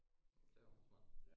Ja det jo meget smart